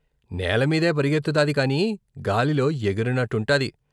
' నేలమీదే పరుగెత్తుతాది కాని, గాలిలో ఎగిరినట్టుంటది.